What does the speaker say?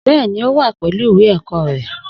Bẹ́ẹ̀ni, ó wà pẹ̀lú ìwé ẹ̀kọ́ rẹ̀